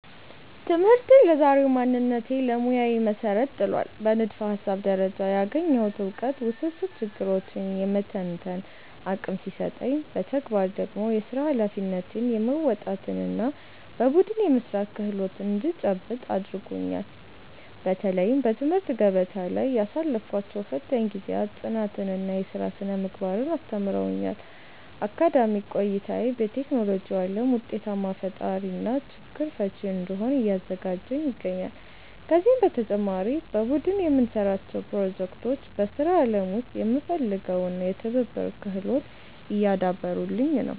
ትምህርቴ ለዛሬው ማንነቴና ለሙያዬ መሠረት ጥሏል። በንድፈ-ሐሳብ ደረጃ ያገኘሁት ዕውቀት ውስብስብ ችግሮችን የመተንተን አቅም ሲሰጠኝ፣ በተግባር ደግሞ የሥራ ኃላፊነትን የመወጣትና በቡድን የመሥራት ክህሎት እንድጨብጥ አድርጎኛል። በተለይም በትምህርት ገበታ ላይ ያሳለፍኳቸው ፈታኝ ጊዜያት ጽናትንና የሥራ ሥነ-ምግባርን አስተምረውኛል። አካዳሚክ ቆይታዬ በቴክኖሎጂው ዓለም ውጤታማ ፈጣሪና ችግር ፈቺ እንድሆን እያዘጋጀኝ ይገኛል። ከዚህም በተጨማሪ በቡድን የምንሠራቸው ፕሮጀክቶች በሥራ ዓለም ውስጥ የሚፈለገውን የትብብር ክህሎት እያዳበሩልኝ ነው።